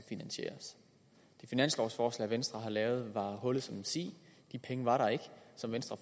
finansieres finanslovforslaget som venstre har lavet var hullet som en si de penge var der ikke som venstre